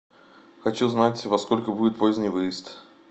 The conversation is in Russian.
хочу знать во сколько будет поздний выезд